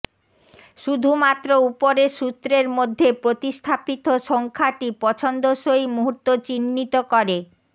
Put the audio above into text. শুধুমাত্র উপরের সূত্রের মধ্যে প্রতিস্থাপিত সংখ্যাটি পছন্দসই মুহূর্ত চিহ্নিত করে